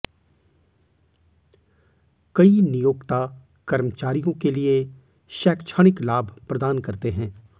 कई नियोक्ता कर्मचारियों के लिए शैक्षणिक लाभ प्रदान करते हैं